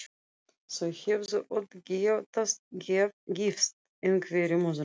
Þau hefðu öll getað gifst einhverjum öðrum.